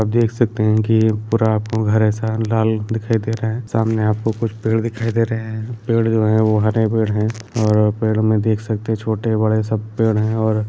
आप देख सकते है कि पूरा आपको घर ऐसा लाल दिखाई दे रहा है सामने आपको कुछ पेड़ दिखाई दे रहे है पेड़ जो है वो हरे पेड़ है और पेड़ में देख सकते है छोटे-बड़े सब पेड़ है और --